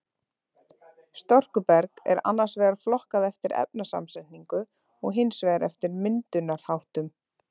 Storkuberg er annars vegar flokkað eftir efnasamsetningu og hins vegar eftir myndunarháttum.